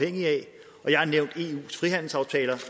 eus frihandelsaftaler